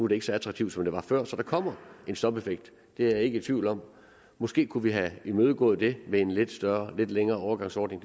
det ikke så attraktivt som det var før så der kommer en stopeffekt det er jeg ikke i tvivl om måske kunne vi have imødegået det med en lidt lidt længere overgangsordning